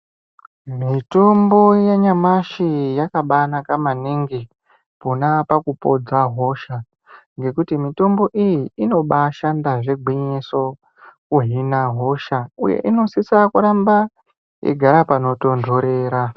Mitombo yanyamashi yakabanaka maningi pona apapo kupodza hosha ngekuti mitombo iyi inobashanda zvegwinyiso kuhina hosha uye inosisa kuramba igare panotondorera.